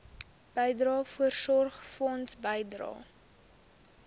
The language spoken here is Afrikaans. bydrae voorsorgfonds bydrae